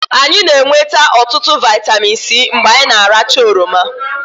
anyị na-enweta ọtụtụ vitamin C mgbe anyị rachara oroma